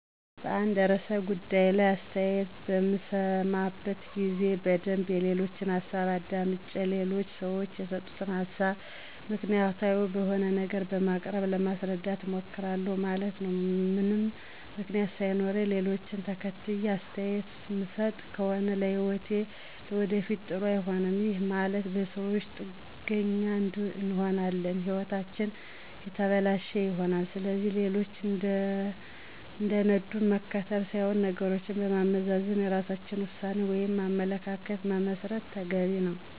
በአንድ ርዕሠ ጉዳይ ላይ አሥተያየት በምሠማበት ጊዜ በደንብ የሌሎችን ሀሣብ አዳምጨ ሌሎች ሠወች የሰጡትን ሀሣብ ምክንያታዊ በሆነ ነገር በማቅረብ ለማሥረዳት እሞክራሁ ማለት ነው። ምንም ምክንያት ሣይኖረኝ ሌሎችን ተከትየ አስተያየት ምሠጥ ከሆነ ለህይወቴም ለወደፊት ጥሩ አይሆንም፤ ይህም ማለት በሠወች ጥገኛ እንሆናለን ህይወታችንም የተበለሸ ይሆናል። ስለዚህ ሌሎች እንደነዱን መከተል ሥይሆን ነገሮችን በማመዛዘን የራሳችን ውሣኔ ወይም አመለካከት መመስረት ተገቢ ነው።